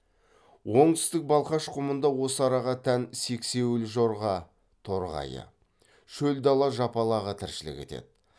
оңтүстік балқаш құмында осы араға тән сексеуіл жорға торғайы шөл дала жапалағы тіршілік етеді